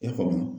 I y'a faamu